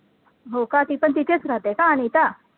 हो का ती पण तिथेच राहते का अनिता